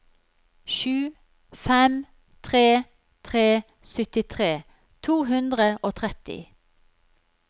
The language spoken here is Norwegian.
sju fem tre tre syttitre to hundre og tretti